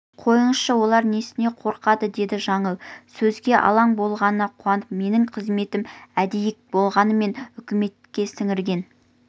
қойыңызшы олар несіне қорқады деді жаңыл сөзге алаң болғанына қуанып менің қызметім әйдік болмағанмен үкіметке сіңірген